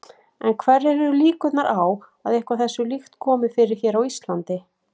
En hverjar eru líkurnar á að eitthvað þessu líkt komi fyrir hér á Íslandi?